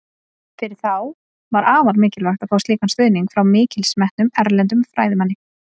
Fyrir þá var afar mikilvægt að fá slíkan stuðning frá mikils metnum, erlendum fræðimanni.